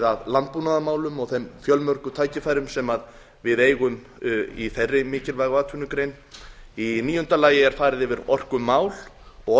að landbúnaðarmálum og þeim fjölmörgu tækifærum sem við eigum í þeirri mikilvægu atvinnugrein níundi farið er yfir orkumál og